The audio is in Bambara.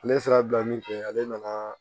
Ale sera bila min kɛ ale nana